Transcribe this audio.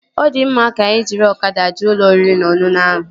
Ọ di mma, ka anyị jiri ọkada jee ụlọ oriri na ọṅụṅụ ahụ